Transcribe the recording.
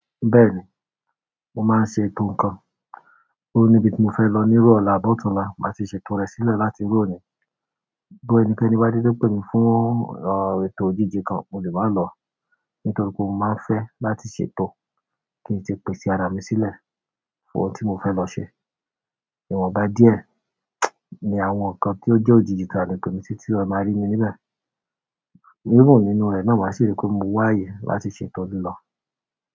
Bẹ́ẹ̀ni, mo máa ń ṣe ètò nǹkan. Ó níbi tí mo fẹ́ lọ ní iru ola àbí ọ̀túnla má ti ṣe ètò rẹ̀ sílẹ̀ láti iru òní. Bí ẹnikẹ́ni bá dedé pé mi fún ètò ojíji kan, mo lè máa lọ nítorí pé mo máa ń fẹ́ láti ṣètò kí n ti pèsè ara mi sílẹ̀ fún ohun tí mo fẹ́ lọ ṣe. Ìwọ̀nba díẹ̀ ni àwọn nǹkan tí ó jẹ́ òjìji tàlẹ̀ pe mi si tí eeyan máa rí mi níbẹ̀. Even nínú rẹ̀ náà máa ṣi ri pé mo wá àyè láti ṣe ètò lilọ.